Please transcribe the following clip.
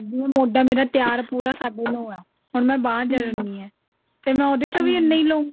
ਹੁਣ ਮੋਢਾ ਮੇਰਾ ਤਿਆਰ ਪੂਰਾ ਸਾਢੇ ਨੋ ਹੈ ਹੁਣ ਬਾਂਹ ਜ੍ਡਨੀ ਹੈ ਤੇ ਮੈਂ ਉਹਦੇ ਚੋਂ ਵੀ ਇੰਨਾ ਲਵਾਂਗੀ